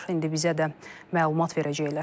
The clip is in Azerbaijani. İndi bizə də məlumat verəcəklər.